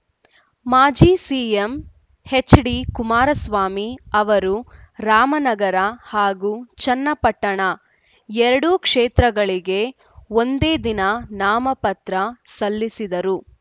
ಮಾಜಿ CM HD Kumaraswamy ಅವರು ರಾಮನಗರ ಹಾಗೂ ಚನ್ನಪಟ್ಟಣ ಎರಡೂ ಕ್ಷೇತ್ರಗಳಿಗೆ ಒಂದೇ ದಿನ ನಾಮಪತ್ರ ಸಲ್ಲಿಸಿದರು